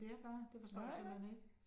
Nej nej